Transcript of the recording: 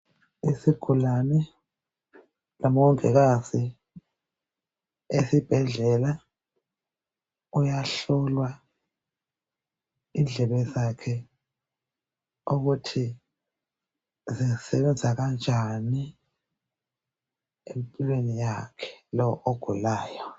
Isigulane labongikazi esibhedlela kuyahlolwa indlebe zakhe ukuthi zisebenza kanjani empilweni yakhe lo ogulayo.